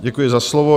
Děkuji za slovo.